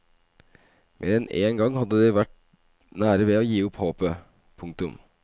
Mer enn en gang hadde de vært nær ved å gi opp håpet. punktum